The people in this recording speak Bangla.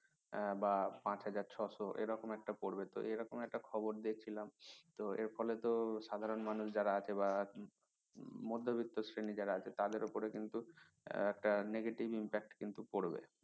উম বা পাঁচ হাজার ছয়শো এরকম একটা পড়বে তো এরকম একটা খবর দেখলাম তো এর ফলে তো সাধারণ মানুষ যারা আছে বা যারা মধ্যবিত্ত শ্রেণী যারা আছে তাদের উপরে কিন্তু একটা negative impact কিন্তু পড়বে।